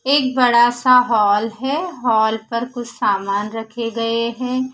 एक बड़ा सा हॉल है हॉल पर कुछ सामान रखे गए है।